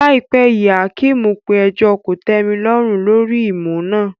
Láìpẹ́ yìí, Hakeem pe ẹjọ́ kòtẹ́milọ́rùn lórí ìmú náà.